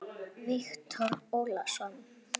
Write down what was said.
Viktor Ólason.